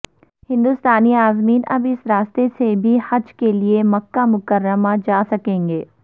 ہندوستانی عازمین اب اس راستے سے بھی حج کے لئے مکہ مکرمہ جا سکیں گے